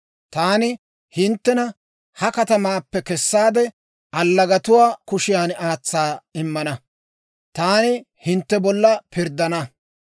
Taani hinttena ha katamaappe kessaade, allagatuwaa kushiyaan aatsa immana; taani hintte bolla pirddana.